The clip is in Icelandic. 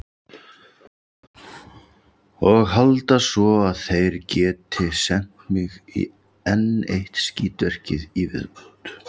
Og halda svo, að þeir geti sent mig í enn eitt skítverkið í viðbót.